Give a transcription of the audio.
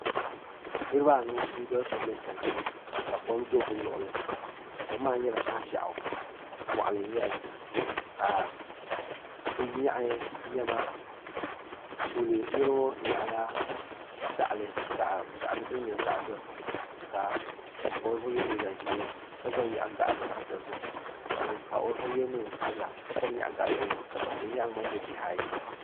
Niriba anu n doli sobila n chena ka kom do bɛ luɣuli kom maa nyɛla koʒiaɣu moɣali n nyɛli ka bɛ yoaɣi niɛma tooli niriŋɔ nyaɣila gaɣali din nyɛ zaɣa dozim ka ŋun pa o zuɣu ye liiga ʒee ka gba nyaɣi gaɣali zaɣa dozim ka ŋun pa o zuɣu ye niɛn sabla ka gba nyaɣi gaɣa dozim ka ban be nyaaga maa nyɛ bihi ayi.